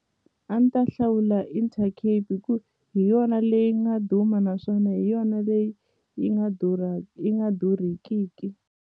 A ni ta hlawula Intercape hi ku hi yona leyi nga duma naswona hi yona leyi yi nga yi nga durhekiki.